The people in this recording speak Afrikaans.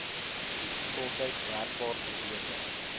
gesondheid merkbaar verbeter